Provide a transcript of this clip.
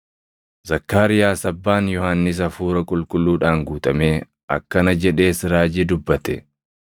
Zakkaariyaas abbaan Yohannis Hafuura Qulqulluudhaan guutamee akkana jedhees raajii dubbate: